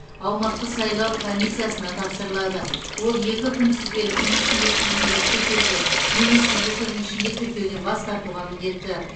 аумақтық сайлау комиссиясына тапсырылады ол екі күнтізбелік күн ішінде тізімдерді тіркеуге немесе екі күн ішінде тіркеуден бас тартуға міндетті